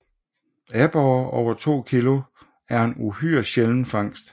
Aborrer over 2 kg er en uhyre sjælden fangst